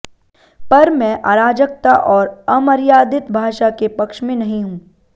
पर मैं अराजकता और अमर्यादित भाषा के पक्ष में नहीं हूं